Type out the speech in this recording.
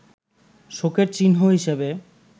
শোকের চিহ্ন হিসেবে